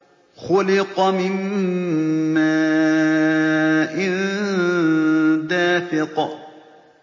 خُلِقَ مِن مَّاءٍ دَافِقٍ